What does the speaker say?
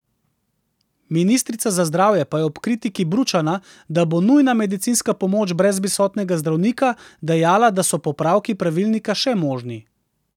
Ministrica za zdravje pa je ob kritiki Bručana, da bo nujna medicinska pomoč brez prisotnega zdravnika, dejala, da so popravki pravilnika še možni.